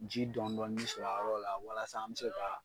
Ji dɔni dɔni b sɔrɔ a yɔrɔ la walasa an be se ka